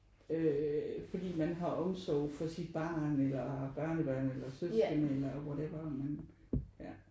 Øh fordi man har omsorg for sit barn eller børnebørn eller søskende eller whatever man ja